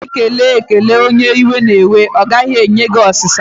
Mgbe ụfọdụ, ekele ekelere onye iwe na-ewe, a gaghị enwe ụ̀sá